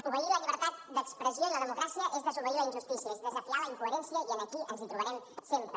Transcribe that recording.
obeir la llibertat d’expressió i la democràcia és desobeir la injustícia és desafiar la incoherència i aquí ens hi trobarem sempre